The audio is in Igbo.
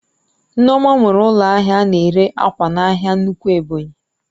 Nneoma nwere ụlọ ahịa ana ere ákwà n'ahia nnukwu Ebonyi